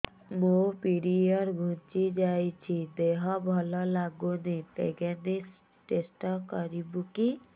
ମୋ ପିରିଅଡ଼ ଘୁଞ୍ଚି ଯାଇଛି ଦେହ ଭଲ ଲାଗୁନି ପ୍ରେଗ୍ନନ୍ସି ଟେଷ୍ଟ କରିବୁ କି